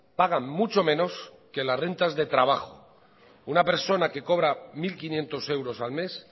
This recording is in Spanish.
pagan mucho menos que las rentas de trabajo una persona que cobra mil quinientos euros al mes